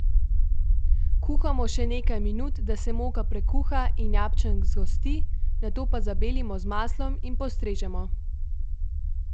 Kuhamo še nekaj minut, da se moka prekuha in jabčnk zgosti, nato pa zabelimo z maslom in postrežemo.